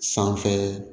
Sanfɛ